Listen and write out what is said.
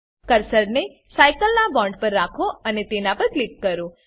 કર્સરને સાઈકલ ના બોન્ડ પર રાખો અને તેના પર ક્લિક કરો